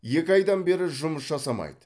екі айдан бері жұмыс жасамайды